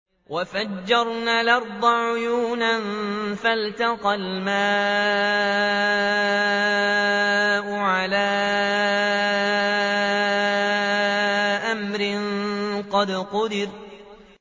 وَفَجَّرْنَا الْأَرْضَ عُيُونًا فَالْتَقَى الْمَاءُ عَلَىٰ أَمْرٍ قَدْ قُدِرَ